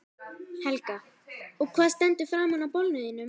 Helga: Og hvað stendur framan á bolnum þínum?